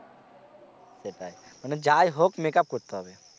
সেটাই মানে যাই হোক make up করতে হবে।